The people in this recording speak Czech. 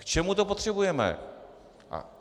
K čemu to potřebujeme?